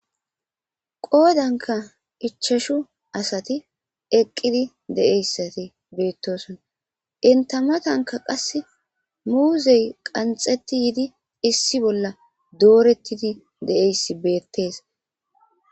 Qoodanka ichashu asati eqqidi deeyssati beettoson intamatanka qas muuzey qanxeti yidi issi bolla doorettidi deeyss beettees.